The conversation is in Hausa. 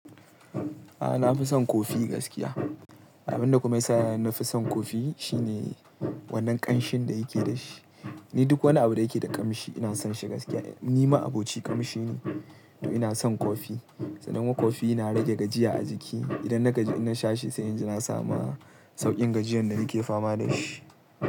A'a, na fi son kofii gaskiya. Abin da kuma ya sa na fi son kofii shine wannan ƙanshin da yake da shi. Ni duk wani abu da yake da ƙamshi ina son shi gaskiya. Ni ma'abocin ƙamshi ne, to ina son kofii. Sannan kuma kofii yana rage gajiya a jiki. Idan na gaji in nasha shi, sai in ji na samu sauƙin gajiyan da nake fama da shi.